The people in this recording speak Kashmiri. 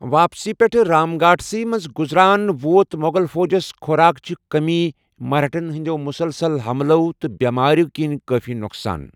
واپسی پیٹھ ، رام گھاٹ سی مٕنزِ گٗزران ،ووت مغل فوجس خوراک چہِ کمی، مرہٹھن ہندِیو مسلسل حملو٘ تہٕ بیماریٚو كِنۍ کٲفی نو٘قصان ۔